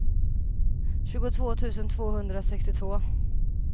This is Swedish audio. tjugotvå tusen tvåhundrasextiotvå